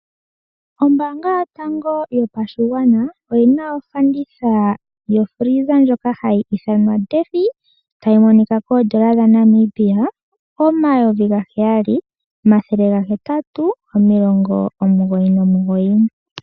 Ombaanga yotango yopashigwana oyi na ofanditha yokila yoku talaleka ndjoka hayi ithanwa 'Deffie'. Tayi monika koondola dha Namibia omayovi ga heyali omathele ga hetatu omilongo omugoyi nomugoyi.